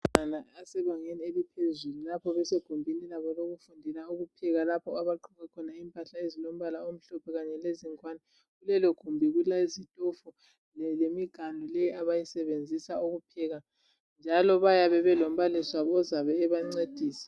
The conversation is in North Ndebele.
Abafundi abasebangeni eliphezulu lapho besegumbini labo lokufundela ukupheka. Lapho abagqoke khona impahla ezilompahla omhlophe kanye lezingwane, kulelogumbi kulezitofu lemiganu leyi abazisebenzisa ukupheka. Njalo bayabe balombalisi wabo ozabe ebancedisa.